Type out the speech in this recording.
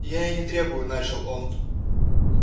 я и не требую начал он